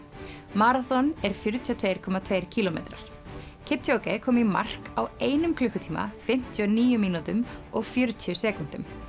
maraþon er fjörutíu og tvö komma tveir kílómetrar kom í mark á einum klukkutíma fimmtíu og níu mínútum og fjörutíu sekúndum